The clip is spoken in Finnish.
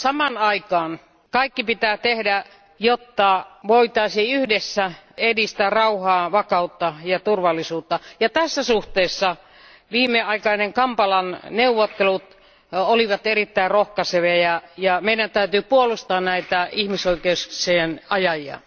Samaan aikaan kaikki pitää tehdä, jotta voitaisiin yhdessä edistää rauhaa, vakautta ja turvallisuutta. Tässä suhteessa viimeaikaiset Kampalan neuvottelut olivat erittäin rohkaisevia, ja meidän täytyy puolustaa näitä ihmisoikeuksien ajajia.